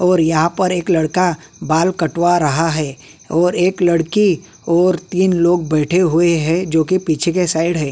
और यहां पे एक लड़का बाल कड़वा रहा है और एक लड़की और तीन लोग बेढे हुए हैं जो की पिछे की साईड है।